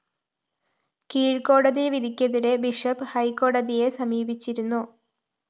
കീഴ്‌ക്കോടതി വിധിക്കെതിരെ ബിഷപ്പ്‌ ഹൈക്കോടതിയെ സമീപിച്ചിരുന്നു